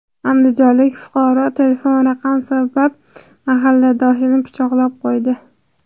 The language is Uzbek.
Andijonlik fuqaro telefon raqam sabab mahalladoshini pichoqlab qo‘ydi.